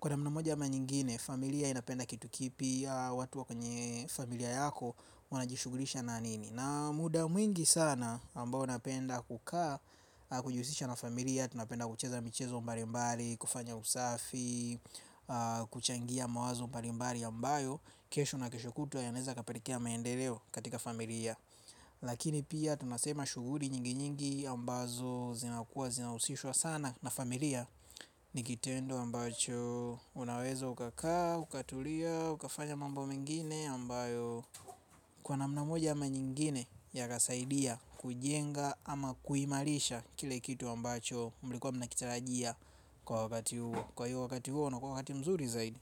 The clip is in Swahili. Kwa namna moja ama nyingine familia inapenda kitu kipya watu wa kwenye familia yako wanajishughulisha na nini. Na muda mwingi sana ambao napenda kukaa, kujihusisha na familia, tunapenda kucheza michezo mbalimbali, kufanya usafi, kuchangia mawazo mbalimbali ambayo kesho na kesho kutwa yanaweza yakapelekea maendeleo katika familia. Lakini pia tunasema shughuli nyingi nyingi ambazo zinakuwa zinahusishwa sana na familia. Ni kitendo ambacho unaweza ukakaa, ukatulia, ukafanya mambo mengine ambayo kwa namna moja ama nyingine yakasaidia kujenga ama kuimarisha kile kitu ambacho mlikuwa mnakitarajia kwa wakati huo. Kwa hiyo wakati huo unakuwa wakati mzuri zaidi.